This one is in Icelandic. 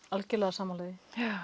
algerlega sammála því